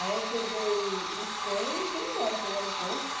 Aí eu peguei o trem e fui embora para o aeroporto.